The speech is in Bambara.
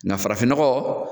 Nka farafinnɔgɔ